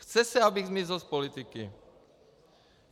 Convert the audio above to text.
Chce se, abych zmizel z politiky.